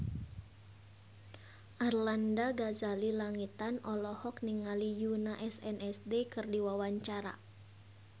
Arlanda Ghazali Langitan olohok ningali Yoona SNSD keur diwawancara